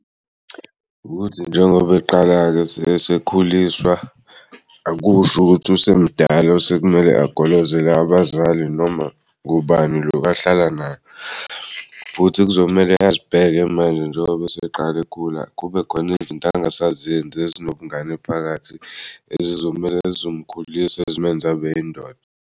Ukuthi njengoba eqala-ke esekhuliswa akusho ukuthi usemdala osekumele agolozele abazali noma kubani lokahlala nayo. Futhi kuzomele azibheke manje njengoba eseqala egula kubekhona izinto angasazenzi ezinobungane phakathi ezizomele zizomkhulisa zimenz'abeyindoda.